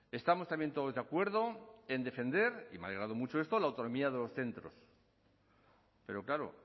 estamos también todos de acuerdo en defender y me ha alegrado mucho esto la autonomía de los centros pero claro